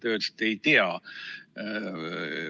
Te ütlesite: "Ei tea.